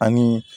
Ani